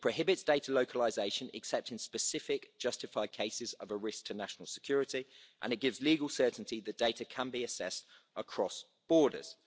It prohibits data localisation except in specific justified cases of a risk to national security, and it gives legal certainty that data can be accessed across borders.